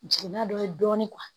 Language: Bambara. Jiginna dɔ ye dɔɔnin